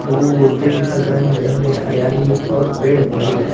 دور-دور تک رنگ برنگے ہریالی اور پیڈ موزود ہے ۔